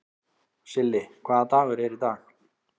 Silli, hvaða dagur er í dag?